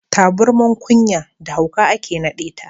Taburman ƙunya da hauka ake naɗeta.